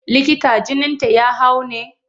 Likita jininta ya hau ne?